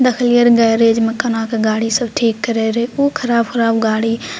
देखिएलियर garage में कहाँ के गाड़ी सब ठीक करै खूब खराब-उराब गाड़ी --